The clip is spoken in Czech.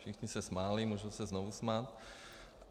Všichni se smáli, můžou se znovu smát.